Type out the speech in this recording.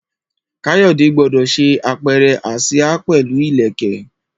Kayode gbọdọ ṣe apẹrẹ asia pẹlu ileke